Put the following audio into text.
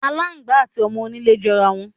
Aláǹgbá àti o̩mo̩-onílé jo̩rá wo̩n.